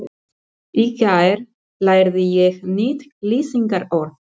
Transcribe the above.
Í gær lærði ég nýtt lýsingarorð.